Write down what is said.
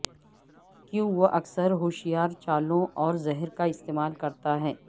کیوں وہ اکثر ہوشیار چالوں اور زہر کا استعمال کرتا ہے